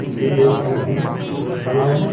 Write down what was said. B H I M लिखा हुआ है।